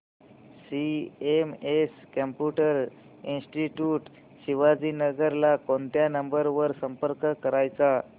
CMS computer institute Shivajinagar ला कोणत्या number वर संपर्क करायचा